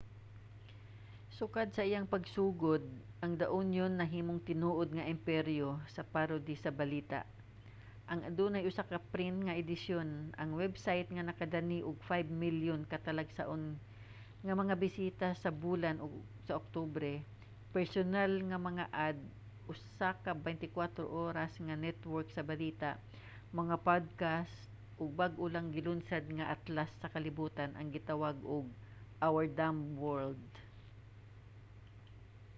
sukad sa iyang pagsugod ang the onion nahimong tinuod nga imperyo sa parody sa balita nga adunay usa ka print nga edisyon ang website nga nakadani og 5,000,000 ka talagsaon nga mga bisita sa bulan sa oktubre personal nga mga ad usa ka 24 oras nga network sa balita mga podcast ug bag-o lang gilunsad nga atlas sa kalibutan nga gitawag og our dumb world